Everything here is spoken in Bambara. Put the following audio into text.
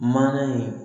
Mana ye